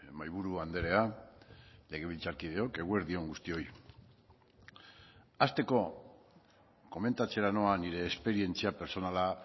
mahaiburu andrea legebiltzarkideok eguerdi on guztioi hasteko komentatzera noa nire esperientzia pertsonala